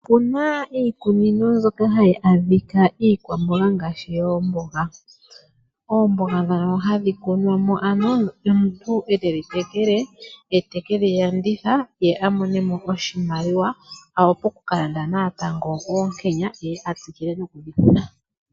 Opuna iikunino mbyoka hayi adhika iikwamboga ngaashi yoomboga. Oomboga ndhono hadhi kunwa mo ano ye omuntu e tedhi tekele, ye te kedhi landitha, ye a mone mo oshimaliwa, a wape oku ka landa natango oonkenya, ye a tsikile noku dhi kuna.